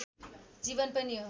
जीवन पनि